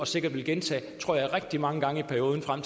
sikkert vil gentage tror jeg rigtig mange gange i perioden frem